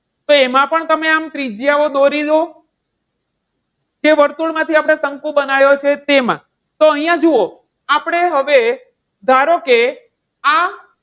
તો એમાં પણ તમે આમ ત્રિજ્યાઓ દોરી લો. જે વર્તુળ માંથી આપણે શંકુ બનાયો છે તેમાં. તો અહીંયા જુઓ, આપણે હવે, ધારો કે, આ